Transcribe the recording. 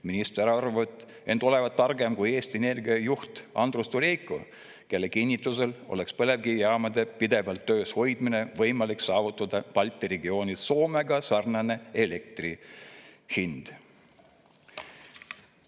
Minister arvab end olevat targem kui Eesti Energia juht Andrus Durejko, kelle kinnitusel oleks põlevkivijaamade pidevalt töös hoidmise puhul võimalik saavutada Balti regioonis Soomega sarnane elektri hind.